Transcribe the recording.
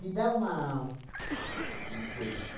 Me dá uma uma coisa assim.